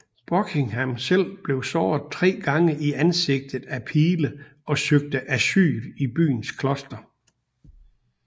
Buckingham selv blev såret tre gange i ansigtet af pile og søgte asyl i byens kloster